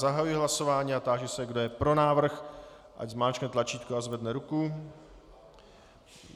Zahajuji hlasování a táži se, kdo je pro návrh, ať zmáčkne tlačítko a zvedne ruku.